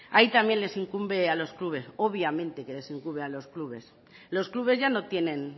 ahí también les incumbe a los clubes obviamente que les incumbe a los clubes los clubes ya no tienen